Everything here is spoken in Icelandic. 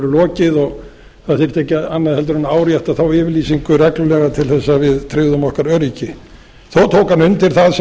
lokið og það þyrfti ekki annað en árétta þessa yfirlýsingu reglulega til að við tryggðum okkar öryggi þó tók hann undir það sem